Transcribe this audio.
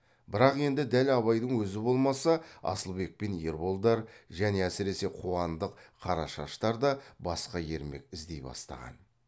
бірақ енді дәл абайдың өзі болмаса асылбек пен ерболдар және әсіресе қуандық қарашаштар да басқа ермек іздей бастаған